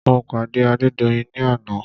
Mo pàdé Adédoyin ní àná.